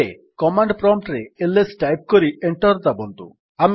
ଏବେ command prompt ରେ LS type କରି ଏଣ୍ଟର୍ ଦାବନ୍ତୁ